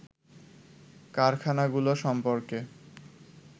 কারখানাগুলো সম্পর্কে